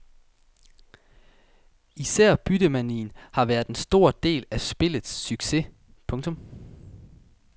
Især byttemanien har været en stor del af spillets succes. punktum